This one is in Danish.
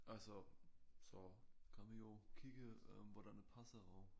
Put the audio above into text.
Altså så kan vi jo kigge øh hvordan det passer og